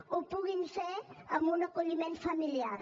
ho puguin fer amb un acolliment familiar